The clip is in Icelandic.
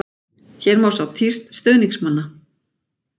Hér má sjá tíst stuðningsmannanna.